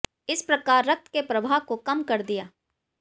इस प्रकार रक्त के प्रवाह को कम कर दिया